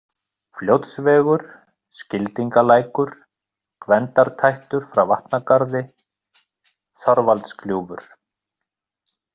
Fljótsvegur, Skildingalækur, Gvendartættur frá Vatnagarði, Þorvaldsgljúfur